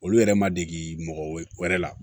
Olu yɛrɛ ma degi mɔgɔ wɛrɛ la